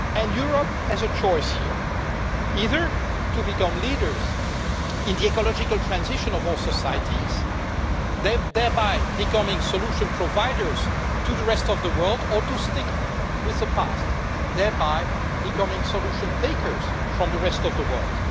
Europe has a choice here either to become leaders in the ecological transition of all societies, thereby becoming solution providers to the rest of the world or to stick with the past, thereby becoming solution takers from the rest of the world.